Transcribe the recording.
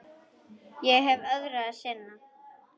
Ég hef öðru að sinna.